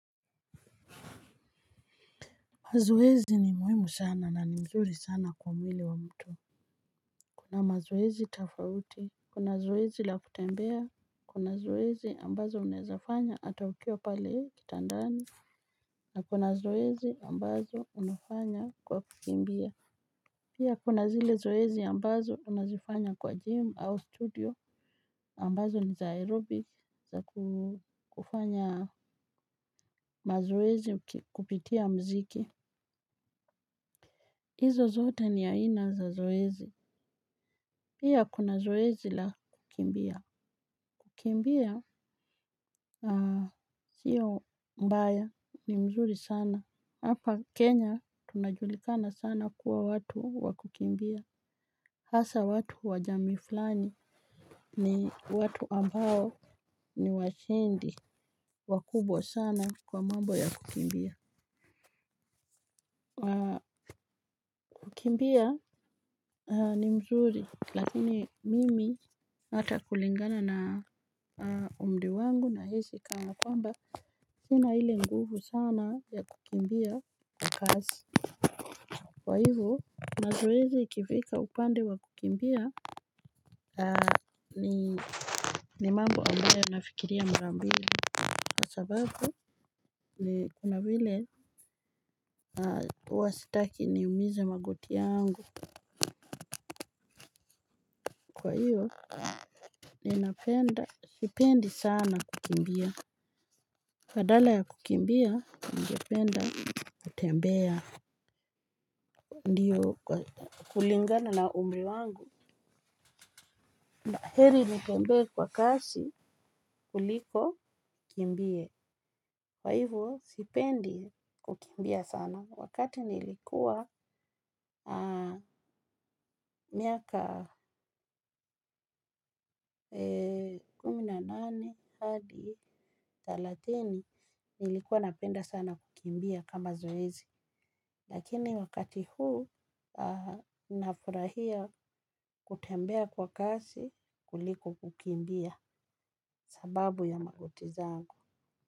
Mazoezi ni muhimu sana na ni mzuri sana kwa mwili wa mtu. Kuna mazoezi tofauti, kuna zoezi la kutembea, kuna zoezi ambazo unawezafanya hata ukiwa pale kitandani, na kuna zoezi ambazo unafanya kwa kukimbia. Pia kuna zile zoezi ambazo unazifanya kwa gym au studio ambazo ni za aerobic za kufanya mazoezi kupitia mziki. Hizo zote ni aina za zoezi. Pia kuna zoezi la kukimbia. Kukimbia sio mbaya ni mzuri sana. Hapa Kenya tunajulikana sana kuwa watu wa kukimbia. Hasaa watu wa jamii fulani ni watu ambao ni washindi wakubwa sana kwa mambo ya kukimbia. Kukimbia ni mzuri lakini mimi hata kulingana na umri wangu nahisi kama kwamba. Sina ile nguvu sana ya kukimbia kwa kasi. Kwa hivyo, mazoezi ikifika upande wa kukimbia. Ni mambo ambayo nafikiria mara mbili. Kwa sababu kuna vile. Huwa sitaki ni umize magoti yangu. Kwa hivyo sipendi sana kukimbia, badala ya kukimbia ningependa kutembea. Kulingana na umri wangu heri nitembee kwa kasi kuliko nikimbie. Kwa hivyo sipendi kukimbia sana wakati nilikuwa Miaka Kumi na nane hadi thalathini nilikuwa napenda sana kukimbia kama zoezi. Lakini wakati huu nafurahia kutembea kwa kasi kuliko kukimbia sababu ya magoti zangu.